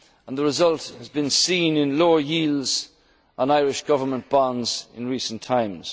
in Ireland. The result has been seen in lower yields on Irish government bonds in recent